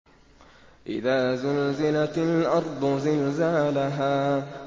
إِذَا زُلْزِلَتِ الْأَرْضُ زِلْزَالَهَا